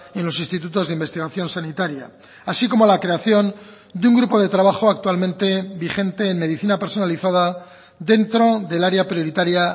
en los institutos de investigación sanitaria así como la creación de un grupo de trabajo actualmente vigente en medicina personalizada dentro del área prioritaria